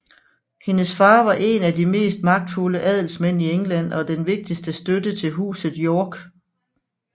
Hendes far var en af de mest magtfulde adelsmænd i England og den vigtigste støtte til Huset York